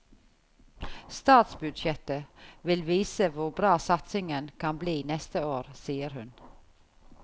Statsbudsjettet vil vise hvor bra satsingen kan bli neste år, sier hun.